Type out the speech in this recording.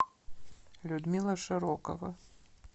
людмила широкова